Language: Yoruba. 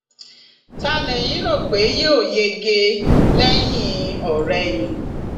ta lẹyìn rò pé yóò yege lẹyìnọrẹyìn